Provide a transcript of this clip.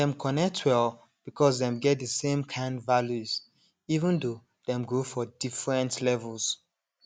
dem connect well because dem get the same kind values even though dem grow for different levels